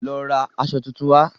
Lọ ra aṣọ tuntun wá.